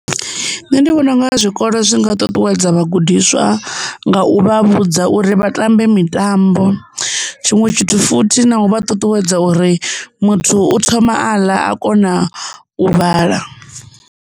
Nṋe ndi vhona unga zwikolo zwi nga ṱuṱuwedza vhagudiswa nga u vha vhudza uri vha tambe mitambo tshiṅwe tshithu futhi na u vha ṱuṱuwedza uri muthu u thoma aḽa a kona u vhala.